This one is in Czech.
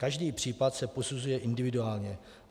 Každý případ se posuzuje individuálně.